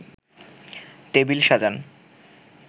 table সাজান